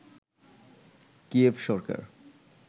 Kyiv Sarkar